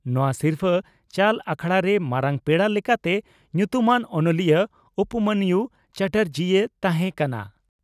ᱱᱚᱣᱟ ᱥᱤᱨᱯᱷᱟᱹ ᱪᱟᱞ ᱟᱠᱷᱲᱟᱨᱮ ᱢᱟᱨᱟᱝ ᱯᱮᱲᱟ ᱞᱮᱠᱟᱛᱮ ᱧᱩᱛᱩᱢᱟᱱ ᱚᱱᱚᱞᱤᱭᱟᱹ ᱩᱯᱢᱚᱱᱭᱩ ᱪᱟᱴᱟᱨᱡᱤᱭ ᱛᱟᱦᱮᱸ ᱠᱟᱱᱟ ᱾